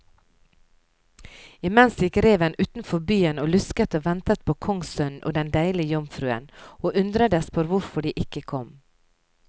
Imens gikk reven utenfor byen og lusket og ventet på kongssønnen og den deilige jomfruen, og undredes på hvorfor de ikke kom.